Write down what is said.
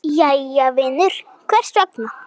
Jæja vinur, hvers vegna?